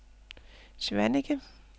Svaneke